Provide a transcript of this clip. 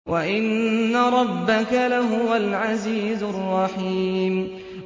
وَإِنَّ رَبَّكَ لَهُوَ الْعَزِيزُ الرَّحِيمُ